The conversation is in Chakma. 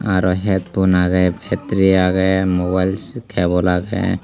auro headphone aagey pattery aagey mobile cable aagey.